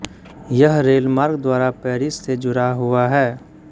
यह रेलमार्ग द्वारा पैरिस से जुड़ा हुआ है